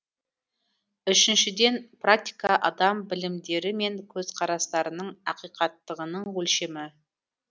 үшіншіден практика адам білімдері мен көзқарастарының ақиқаттығының өлшемі